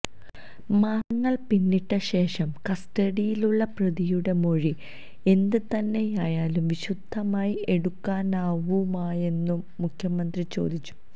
മാസങ്ങൾ പിന്നിട്ട ശേഷം കസ്റ്റഡിയിലുള്ള പ്രതിയുടെ മൊഴി എന്ത് തന്നെയായാലും വിശുദ്ധമായി എടുക്കാനാവുമോയെന്നും മുഖ്യമന്ത്രി ചോദിച്ചു